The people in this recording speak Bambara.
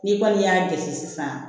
N'i kɔni y'a jate sisan